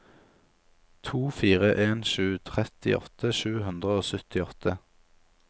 to fire en sju trettiåtte sju hundre og syttiåtte